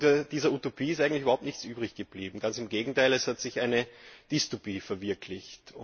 Und von dieser Utopie ist eigentlich überhaupt nichts übrig geblieben, ganz im Gegenteil, es hat sich eine Dystopie verwirklicht.